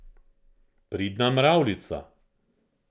Pridna mravljica.